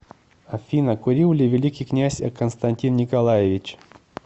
афина курил ли великий князь константин николаевич